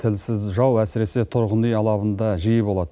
тілсіз жау әсіресе тұрғын үй алабында жиі болады